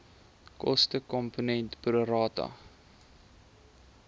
kostekomponent pro rata